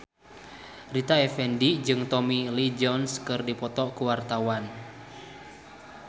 Rita Effendy jeung Tommy Lee Jones keur dipoto ku wartawan